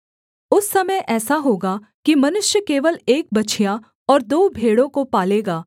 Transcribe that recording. उस समय ऐसा होगा कि मनुष्य केवल एक बछिया और दो भेड़ों को पालेगा